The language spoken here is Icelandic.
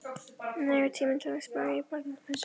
Nægur tími til að spá í barnapössun.